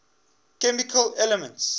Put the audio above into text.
chemical elements